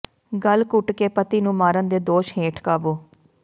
ਗਲ ਘੁੱਟ ਕੇ ਪਤੀ ਨੂੰ ਮਾਰਨ ਦੇ ਦੋਸ਼ ਹੇਠ ਕਾਬੂ